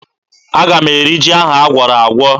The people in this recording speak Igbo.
Aga m eri ji ahụ agwọrọ agwọ